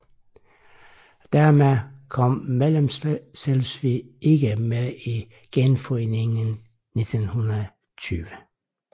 Dermed kom Mellemslesvig ikke med i Genforeningen 1920